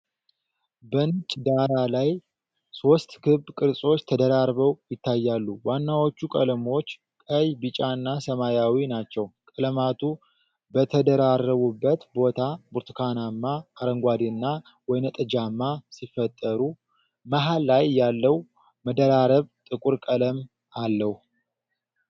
በነጭ ዳራ ላይ ሦስት ክብ ቅርጾች ተደራርበው ይታያሉ። ዋናዎቹ ቀለሞች ቀይ፣ ቢጫና ሰማያዊ ናቸው። ቀለማቱ በተደራረቡበት ቦታ ብርቱካናማ፣ አረንጓዴና ወይንጠጃማ ሲፈጠሩ፣ መሃል ላይ ያለው መደራረብ ጥቁር ቀለም አለው።